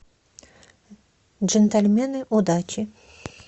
джентльмены удачи